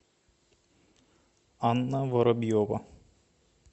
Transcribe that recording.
анна воробьева